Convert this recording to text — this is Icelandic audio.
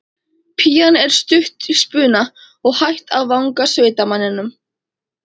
Pían er stutt í spuna og hætt að vanga sveitamanninn.